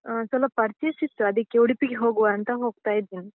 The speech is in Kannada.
ಅ ಸ್ವಲ್ಪ purchase ಸಿತ್ತು, ಅದಕ್ಕೆ ಉಡುಪಿಗೆ ಹೋಗುವ ಅಂತ ಹೋಗ್ತಾ ಇದ್ದೇನೆ.